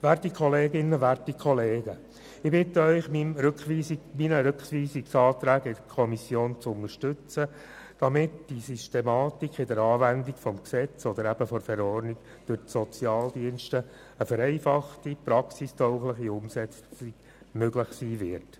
Werte Kolleginnen, werte Kollegen, ich bitte Sie, meine Rückweisungsanträge in die Kommission zu unterstützen, damit durch die Systematik in der Anwendung des Gesetzes oder der Verordnung eine vereinfachte und praxistaugliche Umsetzung durch die Sozialdienste möglich wird.